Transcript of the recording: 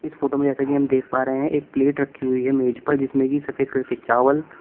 इस फोटो में जैसा कि हम देख पा रहे है एक प्लेट रखी हुई है मेज पर जिसमे की सफेद कलर के चावल--